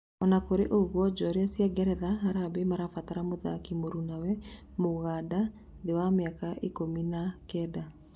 Ona kũrĩ ũguo njorua cia Ngeretha, Harambee marabatara mũthaki mũrũnawe, mũganda, Thiari, wa mĩaka ikũmi na kenda.